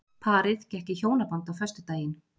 Parið gekk í hjónaband á föstudaginn